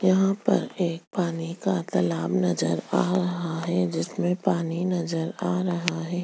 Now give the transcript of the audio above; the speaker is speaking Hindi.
यहाँ पर एक पानी का तालाब नज़र आ रहा है जिसमे पानी नज़र आ रहा है।